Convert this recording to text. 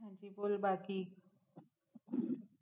હજી બોલ બાકી